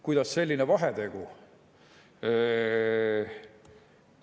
Kuidas selline vahetegu?